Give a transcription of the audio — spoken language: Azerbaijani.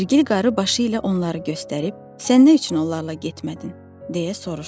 İzerqil qarı başı ilə onları göstərib, sən nə üçün onlarla getmədin, - deyə soruşdu.